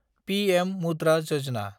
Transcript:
PM Mudra Yojana